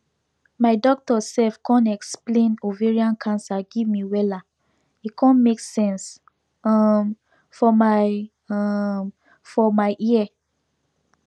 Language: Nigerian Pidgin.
my doctor sef con explain ovarian cancer give me wella e con make sense um for my um for my ear